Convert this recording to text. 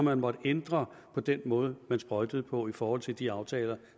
har måttet ændre på den måde man sprøjtede på i forhold til de aftaler